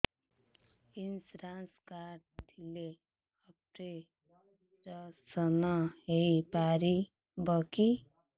insurance card ଥିଲେ operation ହେଇପାରିବ କି